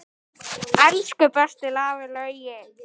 Elsku besti afi Laugi.